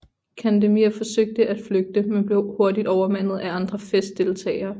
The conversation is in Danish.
Candemir forsøgte at flygte men blev hurtigt overmandet af andre festdeltagere